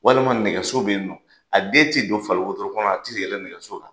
Walima nɛgɛso bɛ yen nɔ, a den tɛ don faliwotoro kɔnɔ a ti yɛlɛ nɛgɛso la.